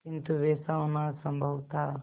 किंतु वैसा होना असंभव था